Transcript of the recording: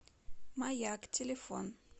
маяк телефон